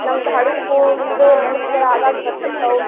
ನಮ್ದ ಹಳಿ school ದು ನೆನಪಗಳ ಆಗಾಗ ಬರ್ತಿರ್ತಾವು.